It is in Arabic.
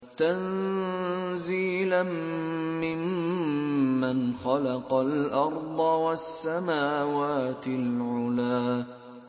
تَنزِيلًا مِّمَّنْ خَلَقَ الْأَرْضَ وَالسَّمَاوَاتِ الْعُلَى